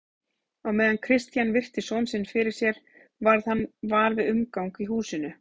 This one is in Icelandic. Á meðan Christian virti son sinn fyrir sér varð hann var við umgang í húsinu.